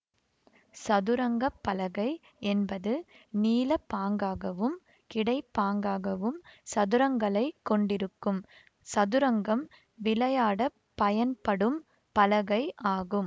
சதுரங்கப்பலகை என்பது நீளப்பாங்காகவும் கிடைப்பாங்காகவும் சதுரங்களைக் கொண்டிருக்கும் சதுரங்கம் விளையாடப் பயன்படும் பலகை ஆகும்